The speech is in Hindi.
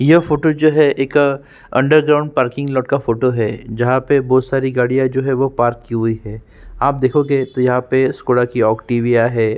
यह फोटो जो है एक अंडर ग्राउंड पार्किंग लोट का फोटो है जहाँ पे बहुत सारी गाड़ियाँ जो है वो पार्क की हुई हैं आप देखो गे तो यहाँ पे स्कॉडा की औटीविया है।